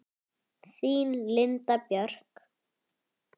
Þín Linda Björk.